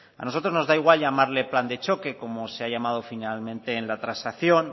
a nosotros nos da igual llamarlo plan de choque como se ha llamado generalmente en la transacción